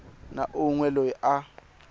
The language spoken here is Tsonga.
na un we loyi a